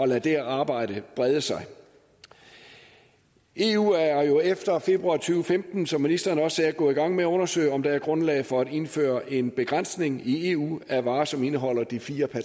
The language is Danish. lade det arbejde brede sig eu er jo efter februar to tusind og femten som ministeren også sagde gået i gang med at undersøge om der er grundlag for at indføre en begrænsning i eu af varer som indeholder de fire